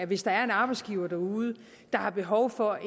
hvis der er en arbejdsgiver derude der har behov for